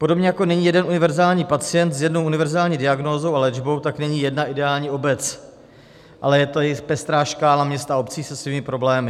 Podobně, jako není jeden univerzální pacient s jednou univerzální diagnózou a léčbou, tak není jedna ideální obec, ale je to i pestrá škála měst a obcí se svými problémy.